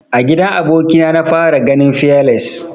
A gidan aboki na na fara ganin fearless.